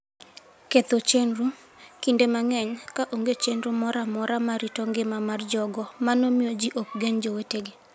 Ketho Chenro: Kinde mang'eny, ka onge chenro moro amora mar rito ngima mar jogo, mano miyo ji ok gen jowetegi.